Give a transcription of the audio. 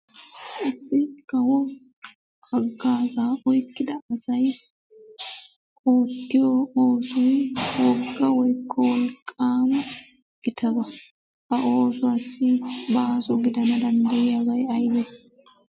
Issi kawo hagaazaa oyqqida asay oottiyo oosoy wogga koykko wolqqaama gittabaa. Ha oosuwaassi baaso gidana danddayiyabay aybee?